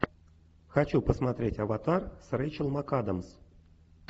хочу посмотреть аватар с рэйчел макадамс